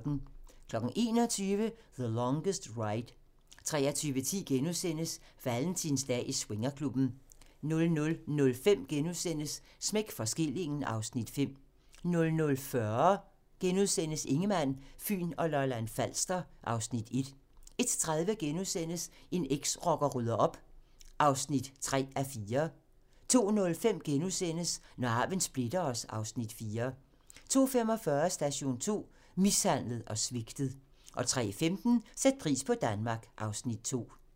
21:00: The Longest Ride 23:10: Valentinsdag i swingerklubben * 00:05: Smæk for skillingen (Afs. 5)* 00:40: Ingemann, Fyn og Lolland-Falster (Afs. 1)* 01:30: En eksrocker rydder op (3:4)* 02:05: Når arven splitter os (Afs. 4)* 02:45: Station 2: Mishandlet og svigtet 03:15: Sæt pris på Danmark (Afs. 2)